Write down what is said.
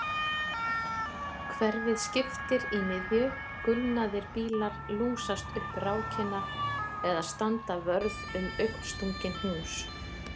Hverfið skiptir í miðju gulnaðir bílar lúsast upp rákina eða standa vörð um augnstungin hús